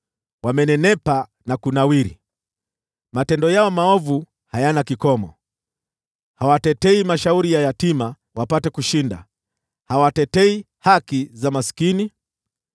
wamenenepa na kunawiri. Matendo yao maovu hayana kikomo; hawatetei mashauri ya yatima wapate kushinda, hawatetei haki za maskini.